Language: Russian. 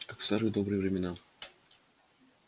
как в старые добрые времена